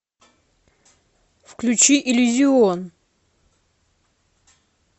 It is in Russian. включи иллюзион